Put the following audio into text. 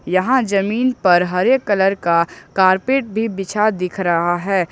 यहां जमीन पर हरे कलर का कारपेट भी बिछा दिख रहा है।